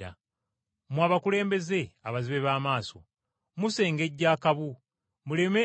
Mmwe abakulembeze abazibe b’amaaso! Musengejja akabu muleme